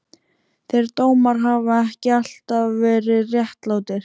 Þeir dómar hafa ekki alltaf verið réttlátir.